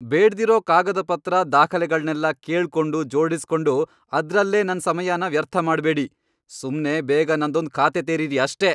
ಬೇಡ್ದಿರೋ ಕಾಗದಪತ್ರ, ದಾಖಲೆಗಳ್ನೆಲ್ಲ ಕೇಳ್ಕೊಂಡು, ಜೋಡುಸ್ಕೊಂಡು ಅದ್ರಲ್ಲೇ ನನ್ ಸಮಯನ ವ್ಯರ್ಥ ಮಾಡ್ಬೇಡಿ. ಸುಮ್ನೆ ಬೇಗ ನಂದೊಂದ್ ಖಾತೆ ತೆರೀರಿ ಅಷ್ಟೇ!